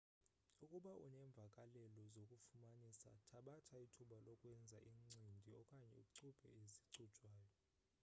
ukuba unemvakalelo zokufumanisa thabatha ithuba lokwenza incindi okanye ucubhe ezicujwayo